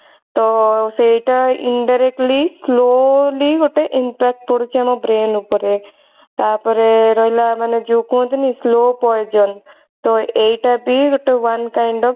ତ ସେଇଟା indirectly slowly ଗୋଟେ impact ପଡୁଛି ଆମ brain ଉପରେ ତାପରେ ରହିଲା ମାନେ ଯଉ କୁହନ୍ତିନି slow poison ତ ଏଇଟା ବି ଗୋଟେ one kind of